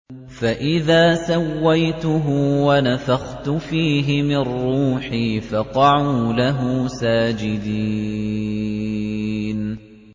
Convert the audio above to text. فَإِذَا سَوَّيْتُهُ وَنَفَخْتُ فِيهِ مِن رُّوحِي فَقَعُوا لَهُ سَاجِدِينَ